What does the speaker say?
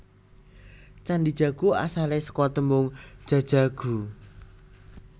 Candhi Jago asale seka tembung Jajaghu